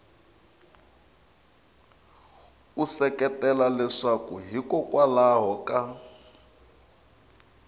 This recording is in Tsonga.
u seketela leswaku hikokwalaho ka